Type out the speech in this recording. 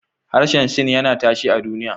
Harshen Sin yana tashe a duniya.